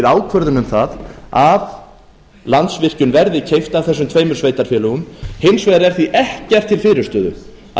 ákvörðun um að landsvirkjun verði keypt af þessum tveimur sveitarfélögum hins vegar er því ekkert til fyrirstöðu að